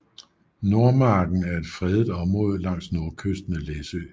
Nordmarken er et fredet område langs nordkysten af Læsø